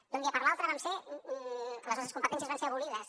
d’un dia per l’altre les nostres competències van ser abolides